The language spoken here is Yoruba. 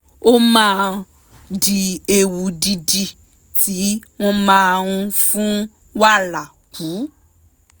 ó máa ń dín ewu dídì tí wọ́n máa ń fún wàrà kù